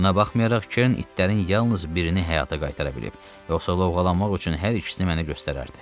Buna baxmayaraq Kern itlərin yalnız birini həyata qaytara bilib, yoxsa lovğalanmaq üçün hər ikisini mənə göstərərdi.